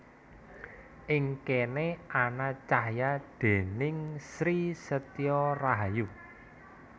Ing kéné ana cahya déning Sri Setyo Rahayu